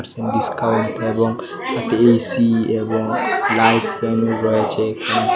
Discount এবং সাথে AC এবং লাইট আটকানো রয়েছে এখানে।